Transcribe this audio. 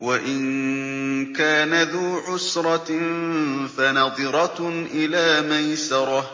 وَإِن كَانَ ذُو عُسْرَةٍ فَنَظِرَةٌ إِلَىٰ مَيْسَرَةٍ ۚ